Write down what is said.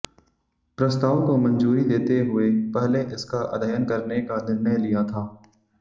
प्रस्ताव को मंजूरी देते हुए पहले इसका अध्ययन करने का निर्णय लिया था